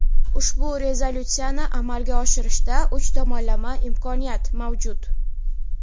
ushbu rezolyutsiyani amalga oshirishda uch tomonlama imkoniyat mavjud.